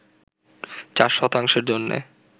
চার শতাংশের জন্য